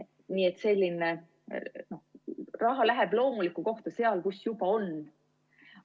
Nii et raha läheb loomulikku kohta, sinna, kus juba on.